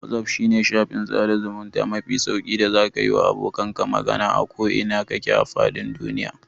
Wazaf shine shafin sada zamunta mafi sauƙi da zaka yiwa abokanka magana a ko ina kake a fadin duniya.